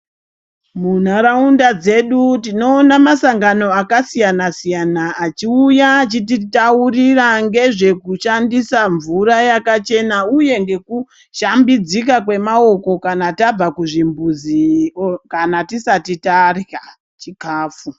Munharaunda dzedu tinoona masangano akasiyana -siyana achiuya achititaurira ngezvekushandisa mvura yakachena uye ngekushambidzika kwemaoko kana tabva kuzvimbuzi kana tisati tarya chikafu.